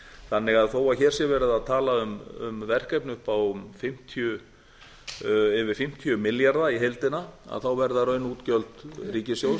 þannig að þó að hér sé verið að tala um verkefni upp á yfir fimmtíu milljarða í heildina verða raunútgjöld ríkissjóðs